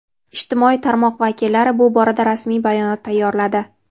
Ijtimoiy tarmoq vakillari bu borada rasmiy bayonot tayyorladi.